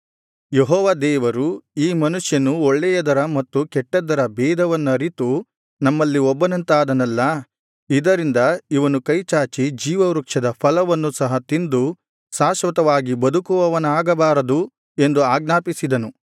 ಯೆಹೋವ ದೇವರು ಈ ಮನುಷ್ಯನು ಒಳ್ಳೆಯದರ ಮತ್ತು ಕೆಟ್ಟದ್ದರ ಬೇಧವನ್ನರಿತು ನಮ್ಮಲ್ಲಿ ಒಬ್ಬನಂತಾದನಲ್ಲಾ ಇದರಿಂದ ಇವನು ಕೈಚಾಚಿ ಜೀವವೃಕ್ಷದ ಫಲವನ್ನು ಸಹ ತಿಂದು ಶಾಶ್ವತವಾಗಿ ಬದುಕುವವನಾಗಬಾರದು ಎಂದು ಆಜ್ಞಾಪಿಸಿದನು